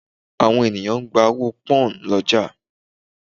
Àwọn ènìyàn ń gba owó pọ́nhùn lọ́jà